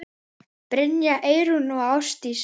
Brynja, Eyrún og Ásdís.